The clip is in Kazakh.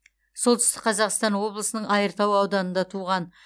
солтүстік қазақстан облысының айыртау ауданында туған